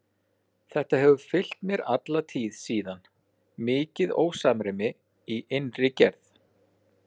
Þetta hefur fylgt mér alla tíð síðan, mikið ósamræmi í innri gerð.